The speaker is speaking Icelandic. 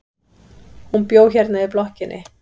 Hún bjó hérna í blokkinni.